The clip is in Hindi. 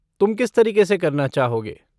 तुम किस तरीके से करना चाहोगे?